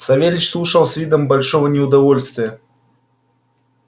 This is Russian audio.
савельич слушал с видом большого неудовольствия